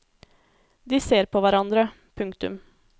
De ser på hverandre. punktum